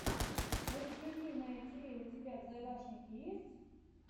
эксклюзивное тиви у тебя в загашнике есть